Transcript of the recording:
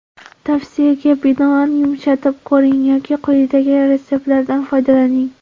Tavsiyaga binoan yumshatib ko‘ring yoki quyidagi retseptlardan foydalaning.